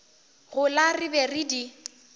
gola re be re di